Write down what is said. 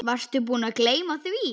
Varstu búinn að gleyma því?